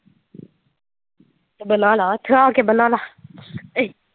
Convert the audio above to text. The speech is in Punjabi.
ਤੇ ਬਣਾਲੈ ਇਥੇ ਆ ਕੇ ਬਣਾਲਾ .